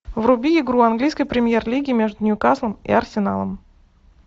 вруби игру английской премьер лиги между ньюкаслом и арсеналом